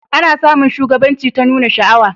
A na samun shugabanci ta nuna sha'awa